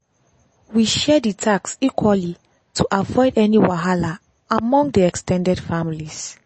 we share dey task equaly to avoid any wahala among dey ex ten ded families.